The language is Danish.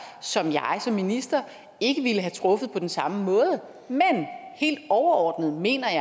som jeg som minister ikke ville have truffet på den samme måde men helt overordnet mener jeg